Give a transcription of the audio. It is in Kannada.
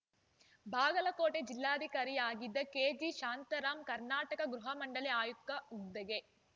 ಬಾಗಲಕೋಟೆ ಜಿಲ್ಲಾಧಿಕಾರಿಯಾಗಿದ್ದ ಕೆಜಿ ಶಾಂತಾರಾಂ ಕರ್ನಾಟಕ ಗೃಹ ಮಂಡಳಿ ಆಯುಕ್ತ ಹುದ್ದೆಗೆ